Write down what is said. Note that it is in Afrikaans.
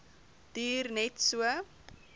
duur net so